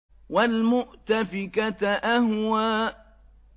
وَالْمُؤْتَفِكَةَ أَهْوَىٰ